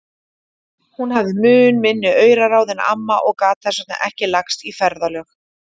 Hún hafði mun minni auraráð en amma og gat þess vegna ekki lagst í ferðalög.